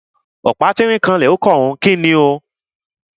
Ọ̀pá tínrín ó kanlẹ̀ ó kànrun. Kíni o?